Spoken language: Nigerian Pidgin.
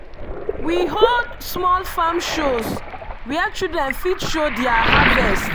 we hold small farm shows where children fit show their harvest.